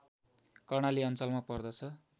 कर्णाली अञ्चलमा पर्दछ